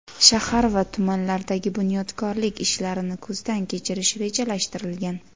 shahar va tumanlardagi bunyodkorlik ishlarini ko‘zdan kechirish rejalashtirilgan.